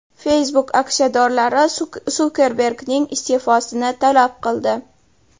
Facebook aksiyadorlari Sukerbergning iste’fosini talab qildi.